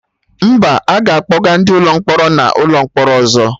Mba, aga akpọga ndị mkpọrọ n'ụlọ mkpọrọ ọzọ